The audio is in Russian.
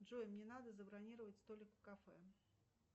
джой мне надо забронировать столик в кафе